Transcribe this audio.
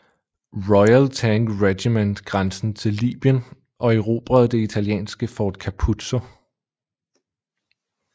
Royal Tank Regiment grænsen til Libyen og erobrede det italienske Fort Capuzzo